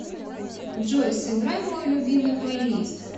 джой сыграй мой любимый плейлист